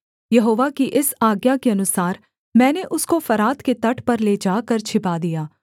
यहोवा की इस आज्ञा के अनुसार मैंने उसको फरात के तट पर ले जाकर छिपा दिया